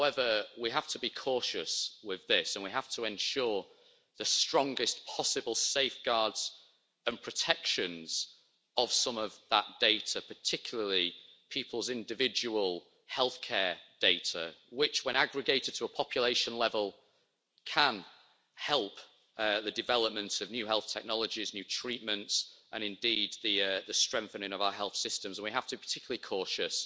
However, we have to be cautious with this and we have to ensure the strongest possible safeguards and protections of some of that data, particularly people's individual healthcare data, which when aggregated to a population level can help the development of new health technologies, new treatments, and indeed the strengthening of our health systems. We have to be particularly cautious